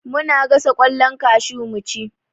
Muna gasa ƙwallon kashu mu ci